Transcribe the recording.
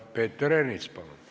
Peeter Ernits, palun!